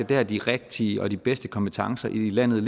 der de rigtige og de bedste kompetencer i landet